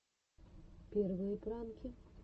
первые пранки